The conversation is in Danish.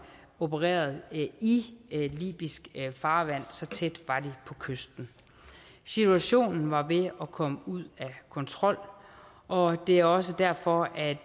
opererede i libysk farvand så tæt var de på kysten situationen var ved at komme ud og kontrol og det er også derfor at